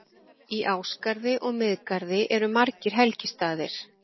Í Ásgarði og Miðgarði eru margir helgistaðir.